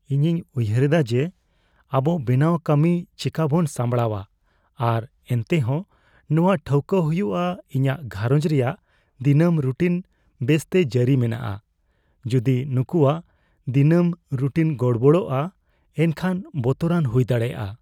ᱤᱧᱤᱧ ᱩᱭᱦᱟᱹᱨᱮᱫᱟ ᱡᱮ ᱟᱵᱚ ᱵᱮᱱᱟᱣ ᱠᱟᱹᱢᱤ ᱪᱮᱠᱟᱵᱚᱱ ᱥᱟᱢᱲᱟᱣᱟ ᱟᱨ ᱮᱱᱛᱮᱦᱚᱸ ᱱᱚᱣᱟ ᱴᱷᱟᱹᱣᱠᱟᱹ ᱦᱩᱭᱩᱜᱼᱟ ᱤᱧᱟᱹᱜ ᱜᱷᱟᱨᱚᱸᱡ ᱨᱮᱭᱟᱜ ᱫᱤᱱᱟᱹᱢ ᱨᱩᱴᱤᱱ ᱵᱮᱥᱛᱮ ᱡᱟᱹᱨᱤ ᱢᱮᱱᱟᱜᱼᱟ ᱾ ᱡᱩᱫᱤ ᱱᱩᱠᱩᱣᱟᱜ ᱫᱤᱱᱟᱹᱢ ᱨᱩᱴᱤᱱ ᱜᱚᱲᱵᱚᱲᱚᱜᱼᱟ ᱮᱱᱠᱷᱟᱱ ᱵᱚᱛᱚᱨᱟᱱ ᱦᱩᱭ ᱫᱟᱲᱮᱭᱟᱜᱼᱟ ᱾